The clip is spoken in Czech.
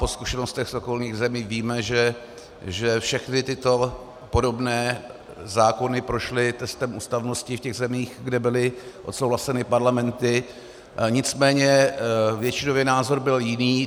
Po zkušenostech z okolních zemí víme, že všechny tyto podobné zákony prošly testem ústavnosti v těch zemích, kde byly odsouhlaseny parlamenty, nicméně většinový názor byl jiný.